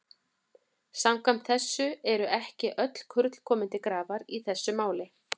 Samkvæmt þessu eru ekki öll kurl komin til grafar í þessu máli.